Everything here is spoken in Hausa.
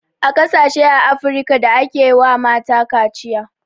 Akwai ƙasashe a afrika da ake wa mata kaciya